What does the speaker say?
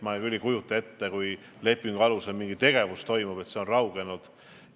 Ma küll ei kujuta ette, et kui lepingu alusel mingi tegevus toimub, siis see on raugenud.